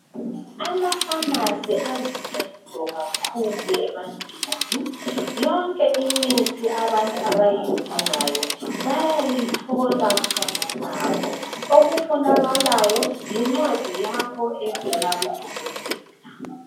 Ama"pharmacy " aluncedo kakhulu ebantwini. Yonke imithi abantu abayidingayo bayayithola khonalapho. Okufunakalayo yincwadi yakho evela kudokotela.